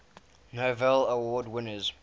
novello award winners